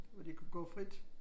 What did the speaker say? Hvor de kunne gå frit